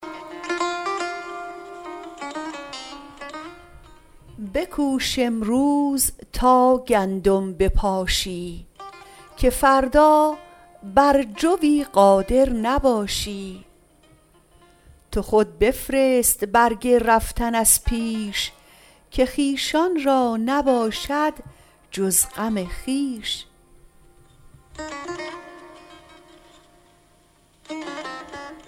بکوش امروز تا گندم بپاشی که فردا بر جویی قادر نباشی تو خود بفرست برگ رفتن از پیش که خویشان را نباشد جز غم خویش